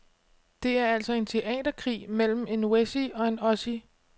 Det er altså en teaterkrig mellem en wessie og en ossie.